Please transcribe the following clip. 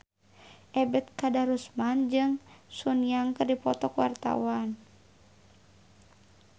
Ebet Kadarusman jeung Sun Yang keur dipoto ku wartawan